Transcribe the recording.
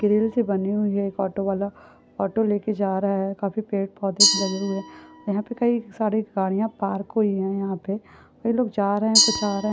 Grill सी बनी हुई है एक ऑटो बाला ऑटो लेके जा रहा है काफी पेर पौधे भी लागे हुए यहाँपे कई सारी गाड़िया पार्क हुए है । यहाँपे लोग जा रहे है कुछ आ रहे--